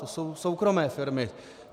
To jsou soukromé firmy.